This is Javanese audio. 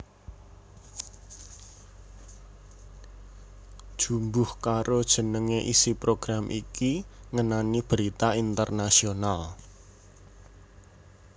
Jumbuh karo jenenge isi program iki ngenani berita internasional